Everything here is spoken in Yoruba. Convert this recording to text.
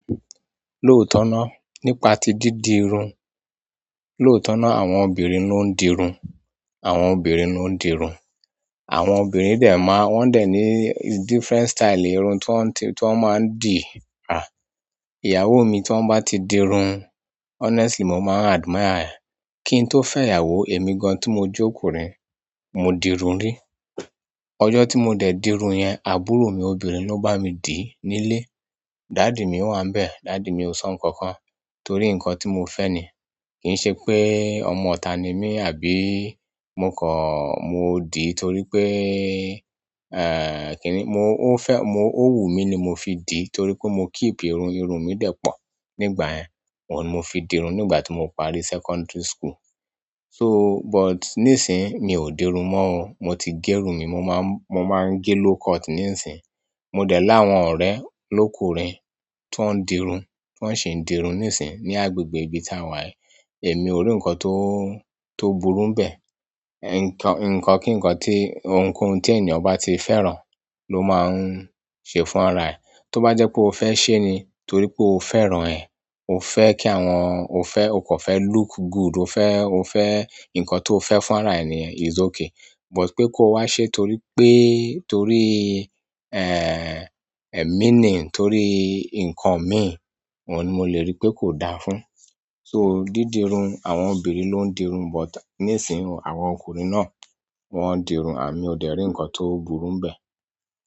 Lóòótọ́ náà, nípa tí dídirun. Lóòótọ́ náà àwọn obìnrin ló ń dirun, àwọn obìnrin ló ń dirun. Àwọn obìnrin dè máa, wọn dè ní different style irun tó ń ti, tó máa ń dì rà. Ìyàwó mi tó bá ti dirun, honestly mo máa admire rẹ̀. Kí n tó fẹ́ ìyàwó èmi gan tí mo jẹ́ ọkùnrin, mo dirun rí. Ọjọ́ tí mo dẹ̀ dirun yẹn, àbúrò mi obìnrin ló bá mi dì nílé. Daddy mi wà níbẹ̀, daddy mi ò sọ nǹkan kan torí nǹkan tí mo fẹ́ ni. Kì í ṣe pé ọmọ ọ̀tá ni mí àbí mo kọ̀, mo dì torí pé, eh, kí ni, mo fẹ́, mo, ó wù mí ni mo fi dì torí pé mo keep irun, irun mi dẹ̀ pọ̀ nígbà yẹn. Oun mo fi dirun nígbà tí mo parí secondary school. So, but níìsín mi ò dirun mọ́ o. Mo ti gé irun mi, mo máa n gé low cut níìsín. Mo dẹ̀ láwọn ọ̀rẹ́ lókùnrin tó ń dirun, tó ń ṣe ń dirun níìsín ní agbègbè ibi tá a wà. Emi o ri nkan to burú n be. Ẹ̀, nǹkan kí nǹkan tí ohunkóhun tí ènìyàn bá ti fẹ́ràn ló máa ń ṣe fún ara ẹ̀. Tó bá jẹ́ pé o fẹ́ ṣé ni torí pé o fẹ́ràn ẹ, o fẹ́ kí àwọn, o fẹ́, o kàn fẹ́ look good, o fẹ́, o fẹ́ nǹkan tó o fẹ́ fún ara èèyàn is okay. But pe ko wa se toripe torí meaning e torí nkan mi ni mo le ni ko da fún so didirun àwọn obìnrin lo n dirun but nisin àwọn ọkùnrin na wọn dirun mío de ri nkan to burú n be.